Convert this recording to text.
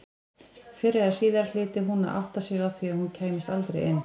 Fyrr eða síðar hlyti hún að átta sig á því að hún kæmist aldrei inn.